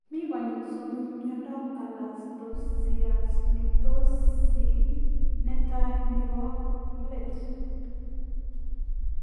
Mii konyiil somok miandap kalaktosialitosii; netai, nepoo let